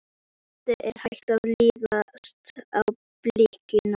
Eddu er hætt að lítast á blikuna.